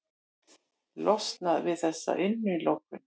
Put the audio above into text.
Losnað við þessa innilokun.